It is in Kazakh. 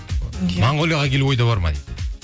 монголияға келу ойда бар ма дейді